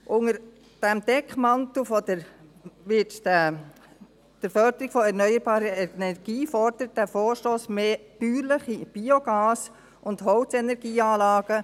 Unter diesem Deckmantel der Förderung der erneuerbaren Energie fordert dieser Vorstoss mehr bäuerliche Biogas- und Holzenergieanlagen.